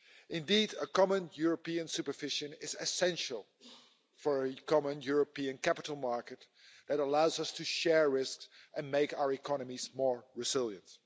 Indeed, a common European supervision is essential for a common European capital market that allows us to share risks and make our economies more resilient.